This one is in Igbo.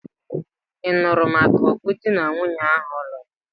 Ị nụrụ maka ọ̀gụ̀ di na nwunye áhụ̀ lụrụ?